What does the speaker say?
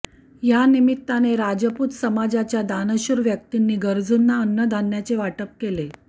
यानिमित्ताने राजपूत समाजाच्या दानशूर व्यक्तिंनी गरजूंना अन्नधान्याचे वाटप केले